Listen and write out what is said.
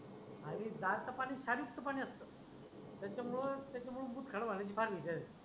आणि जार च पाणी खारीच पाणी असत. त्याच्यामुळं त्याच्यामुळं मुतखडा होण्याची पालीच आहे.